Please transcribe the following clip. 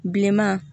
Bilenman